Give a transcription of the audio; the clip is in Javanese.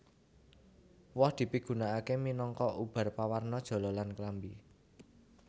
Woh dipigunakaké minangka ubar pawarna jala lan klambi